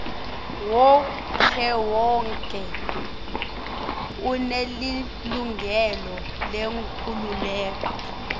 wonkhewonkhe unelilungelo lenkhululeko